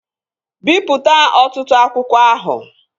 Bipụta ọtụtụ akwụkwọ ahụ!